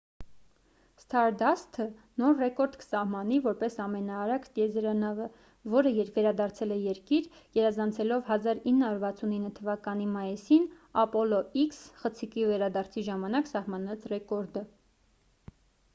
սթարդասթը նոր ռեկորդ կսահմանի որպես ամենաարագ տիեզերանավը որը վերադարձել է երկիր գերազանցելով 1969 թ մայիսին ապոլո x խցիկի վերադարձի ժամանակ սահմանած ռեկորդը